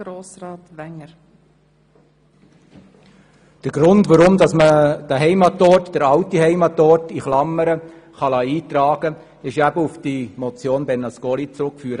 der SiK. Der Grund, weshalb man den alten Heimatort in Klammern eintragen lassen kann, ist auf die Motion Bernasconi zurückzuführen.